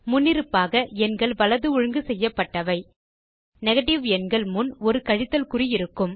முன்னிருப்பாக எண்கள் வலது ஒழுங்கு செய்யப்பட்டவை நெகேட்டிவ் எண்கள் முன் ஒரு கழித்தல் குறி இருக்கும்